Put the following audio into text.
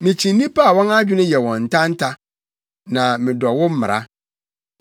Mikyi nnipa a wɔn adwene yɛ wɔn ntanta, na medɔ wo mmara.